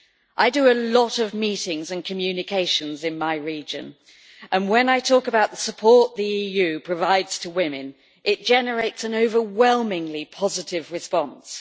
I do a lot of meetings and communications in my region and, when I talk about the support the EU provides to women, it generates an overwhelmingly positive response.